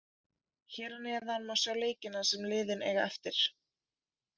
Hér að neðan má sjá leikina sem liðin eiga eftir: